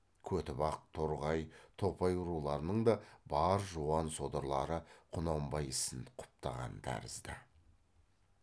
көтібақ торғай топай руларының да бар жуан содырлары құнанбай ісін құптаған тәрізді